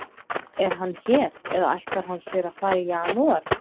Er hann hér eða ætlar hann sér að fara í janúar?